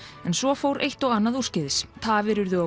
en svo fór eitt og annað úrskeiðis tafir urðu á